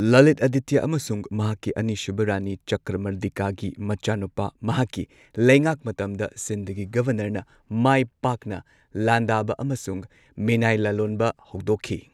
ꯂꯂꯤꯠ ꯑꯥꯗꯤꯇ꯭ꯌ ꯑꯃꯁꯨꯡ ꯃꯍꯥꯛꯀꯤ ꯑꯅꯤꯁꯨꯕ ꯔꯥꯅꯤ ꯆꯀ꯭ꯔꯃꯔꯗꯤꯀꯥꯒꯤ ꯃꯆꯥꯅꯨꯄꯥ, ꯃꯍꯥꯛꯀꯤ ꯂꯩꯉꯥꯛ ꯃꯇꯝꯗ ꯁꯤꯟꯙꯒꯤ ꯒꯣꯚꯔꯅꯔꯅ ꯃꯥꯏ ꯄꯥꯛꯅ ꯂꯥꯟꯗꯥꯕ ꯑꯃꯁꯨꯡ ꯃꯤꯅꯥꯏ ꯂꯂꯣꯟꯕ ꯍꯧꯗꯣꯛꯈꯤ꯫